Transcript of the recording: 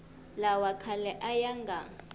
lawa khale a ya nga